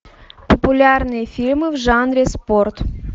популярные фильмы в жанре спорт